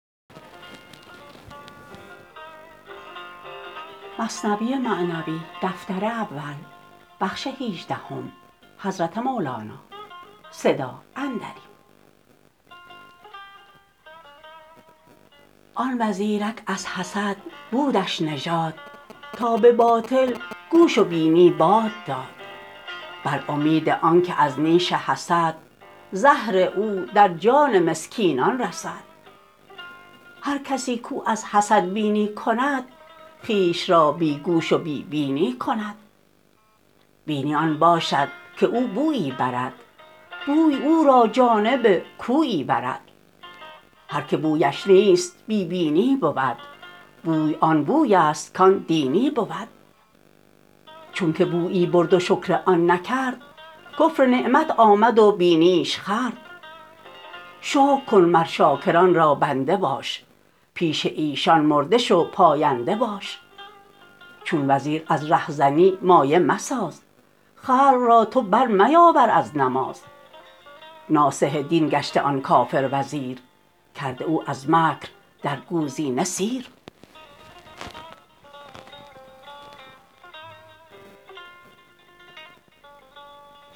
آن وزیرک از حسد بودش نژاد تا به باطل گوش و بینی باد داد بر امید آنک از نیش حسد زهر او در جان مسکینان رسد هر کسی کو از حسد بینی کند خویش را بی گوش و بی بینی کند بینی آن باشد که او بویی برد بوی او را جانب کویی برد هر که بویش نیست بی بینی بود بوی آن بویست کان دینی بود چونک بویی برد و شکر آن نکرد کفر نعمت آمد و بینیش خورد شکر کن مر شاکران را بنده باش پیش ایشان مرده شو پاینده باش چون وزیر از ره زنی مایه مساز خلق را تو بر میاور از نماز ناصح دین گشته آن کافر وزیر کرده او از مکر در گوزینه سیر